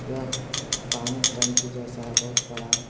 यह पानी टंकी जैसा है बहुत बड़ा।